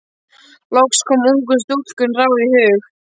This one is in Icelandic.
Loks kom ungu stúlkunni ráð í hug.